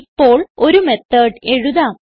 ഇപ്പോൾ ഒരു മെത്തോട് എഴുതാം